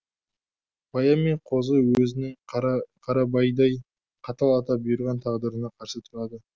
баян мен қозы өзінің қарабайдай қатал ата бұйырған тағдырына қарсы тұрады